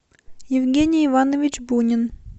евгений иванович бунин